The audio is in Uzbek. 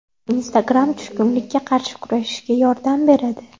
Instagram tushkunlikka qarshi kurashishga yordam beradi.